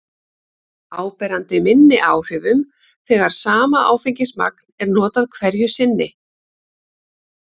áberandi minni áhrifum þegar sama áfengismagn er notað hverju sinni